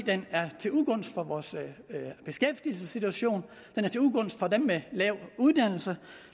er til ugunst for vores beskæftigelsessituation det er til ugunst for dem med lav uddannelse